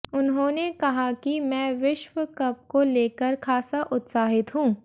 उन्होंने कहा कि मैं विश्वकप को लेकर खासा उत्साहित हूं